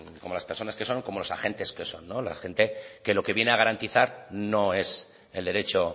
como las personas que son como los agentes que son la gente que lo que viene a garantizar no es el derecho